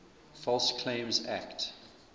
false claims act